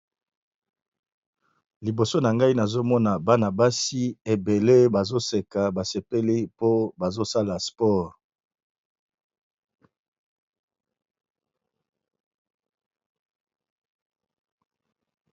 Liboso na ngai nazomona bana-basi ebele bazoseka basepeli po bazosala sport.